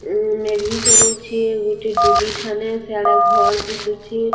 ଉଁ ମେଢି ଚରଉଛେ ଗୁଟେ ଡୁଲି ଠାନେ ସେଆଡ଼ର୍‌ ଘର ଦିଶୁଛେ ନୁ--